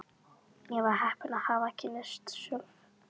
Ég var heppin að hafa kynnst Sölva.